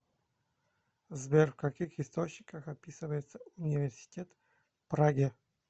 сбер в каких источниках описывается университет в праге